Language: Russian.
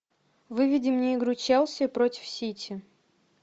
выведи мне игру челси против сити